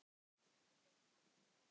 Hann fékk nafnið Óli.